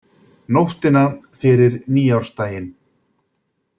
Nóttina fyrir nýársdaginn